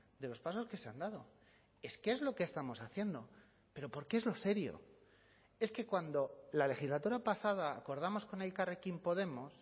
de los pasos que se han dado es que es lo que estamos haciendo pero porque es lo serio es que cuando la legislatura pasada acordamos con elkarrekin podemos